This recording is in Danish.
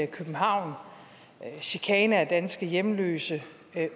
københavn chikane af danske hjemløse